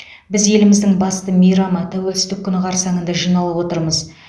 біз еліміздің басты мейрамы тәуелсіздік күні қарсаңында жиналып отырмыз